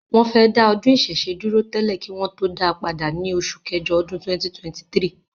wọ́n fẹ́ dá ọdún ìṣẹ̀ṣe dúró tẹ́lẹ̀ kí wọn tó dáa padà ní oṣù kẹjọ ọdún 2023.